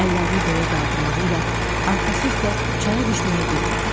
Əllərini göyə qaldırmağı ilə arxası üstə çaya düşməyi bir oldu.